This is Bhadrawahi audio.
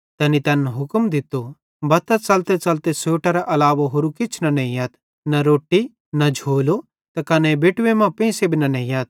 ते तैनी तैन हुक्म दित्तो बत्तां च़लतेच़लते सोटेरे अलावा होरू किछ न नेइयथ न रोट्टी न झोलो त कने बेटवे मां पेंइसे भी न नेइयथ